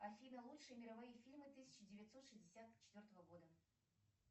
афина лучшие мировые фильмы тысяча девятьсот шестьдесят четвертого года